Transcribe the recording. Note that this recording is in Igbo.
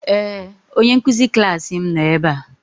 Ee! Onye nkụzi klaasị m nọ ebe a.